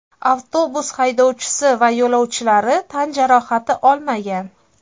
Avtobus haydovchisi va yo‘lovchilari tan jarohati olmagan.